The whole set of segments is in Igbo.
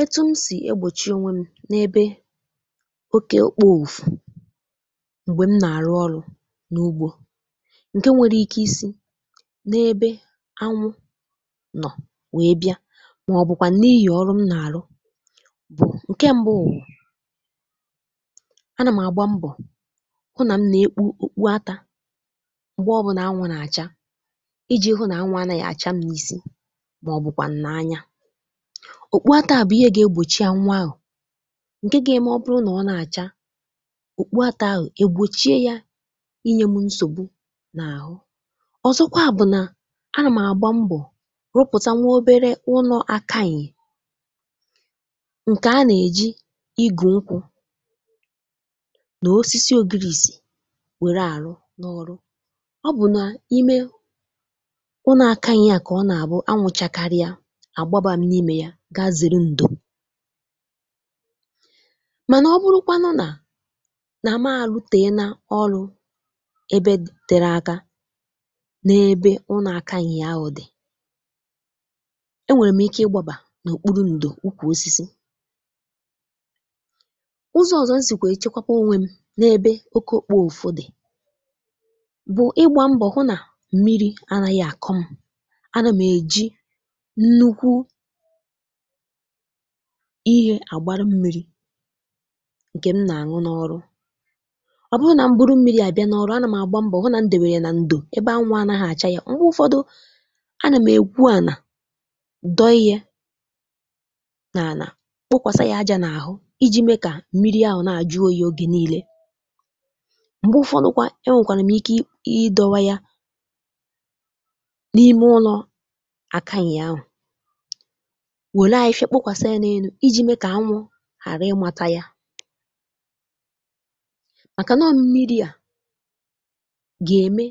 Etu m sì egbòchi ònwe m n’ebe oke òkpo òfù m̀gbè m nà-arụ ọrụ n’ugbọ, ǹkè nwere ike isi n’ebe anwụ nọ wee bịa màọbụkwà n’ihi ọrụ m nà-arụ, bụ, ǹkè mbụ wu; a nà m àgba mbọ hụ nà m nà-ekpu okpu atà m̀gbè ọbụnà anwụ nà-àcha iji hụ nà anwụ anaghị àcha m isi màọbụkwà nà-anya. Okpu ata bụ ihe ga-egbòchi anwụ ahụ, nkè ga-eme ọ bụrụ nà ọ na-àcha òkpuata ahụ egbòchie ya inye mụ nsògbu n’àhụ. Ọzọkwa bụ nà anà m àgba mbọ, rụpụta nwa obere ụnọ akayị, ǹkè a nà-ejì igù nkwụ nà osisi ogirisì wère àrụ n’ọrụ; ọ bụ na imè ụnọ akayị ya kà ọ nà-àbụ anwụ chàkarị a agbaba m n'ime ya ga zere ǹdò. Mànà ọ bụrụkwanụ nà nà mà lụtèená ọlụ ebe tere aka n’ebe ụn akayị ahụ dị, enwèrè m ike ịgbàbà n’òkpuru ǹdò ukwù osisi. Ụzọ ọzọ m sìkwà èchekwapụ onwe m n’ebe oke òkpo òfù dị bụ ịgbà mbọ hụ nà mmiri anaghị àkọ m, a nà m ejì nnukwu ihe àgbara mmiri ǹkè m nà-àṅụ n’ọrụ. Ọ bụrụ nà m̀bụrụ mmiri à bịa n’ọrụ, anà m àgba mbọ hụ nà ǹdèwèrè ya nà ǹdò ebe anwụ anagha àcha ya. M̀gbè ụfọdụ, anà m egwu ànà dọghi a nà ànà, kpokwasa ya ajà n’àhụ iji me kà mmiri àhụ na-àjụ oyi ogè niile. M̀gbè ụfọdụkwa, enwèkwànụ m ike ị ịdọwa ya n’ime ụlọ àkàyị ahụ, nwere afịfịa kpokwasa ya n'elu iji me ka anwụ hàra ị màta ya; maka no mmiri a ga-eme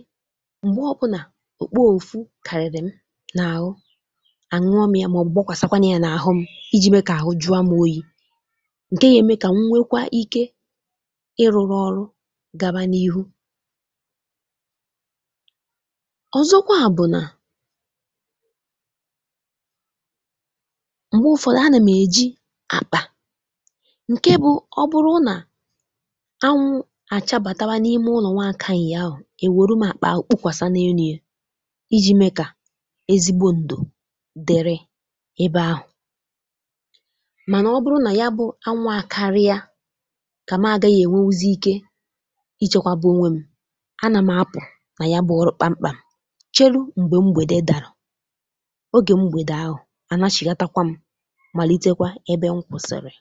mgbe ọbụna òkpo òfù kariri m n'ahụ, anwụọ mịa maọbụ gbokwasa kwanụ a n'ahụ m, iji me ka ahụ jua mụ oyi, ǹkè ya eme ka m nwekwa ike iruru ọrụ gaba n'ihụ. Ọzọkwa bụ nà mgbe ụfọdụ, a na m eji apka ǹkè bụ ọ bụrụ nà anwụ àchabàtawa n’ime ụlọ nwa akàyị ahụ èwèru m àkpà ahụ kpukwàsà n’enu e iji mee kà ezigbo ǹdò dịrị ebe ahụ. Mànà ọ bụrụ nà ya bụ anwụ àkaria, kà m àgaghị èwewuzi ike ichèkwabụ ònwe m. a nà m apụ nà ya bụ ọrụ kpamkpà m, chelu m̀gbè mgbède dàrà, oge mgbède ahụ anachighata m m̀alitekwa ebe nkwùsìrì.